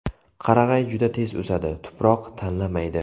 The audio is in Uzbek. Qarag‘ay juda tez o‘sadi, tuproq tanlamaydi.